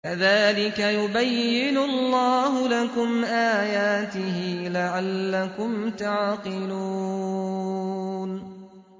كَذَٰلِكَ يُبَيِّنُ اللَّهُ لَكُمْ آيَاتِهِ لَعَلَّكُمْ تَعْقِلُونَ